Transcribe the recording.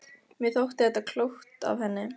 Mér þótti þetta klókt af henni.